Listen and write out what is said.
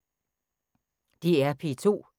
DR P2